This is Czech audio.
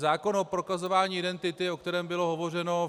Zákon o prokazování identity, o kterém bylo hovořeno.